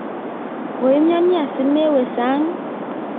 koimyoni asimawo sang'